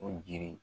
O jiri